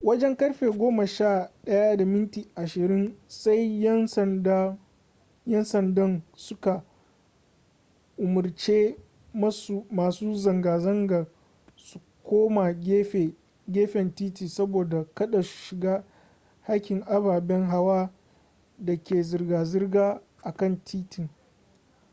wajen karfe 11:20 sai yan sandan su ka umarci masu zanga zangar su koma gefen titi saboda kada su shiga hakkin ababen hawa da ke zirga zirga a kan titin